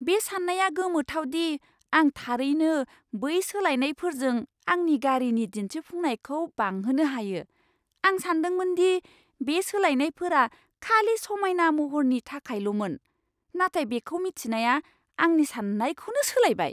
बे साननाया गोमोथाव दि आं थारैनो बै सोलायनायफोरजों आंनि गारिनि दिन्थिफुंनायखौ बांहोनो हायो। आं सानदोंमोन दि बे सोलायनायफोरा खालि समायना महरनि थाखायल'मोन, नाथाय बेखौ मिथिनाया आंनि सान्नायखौनो सोलायबाय!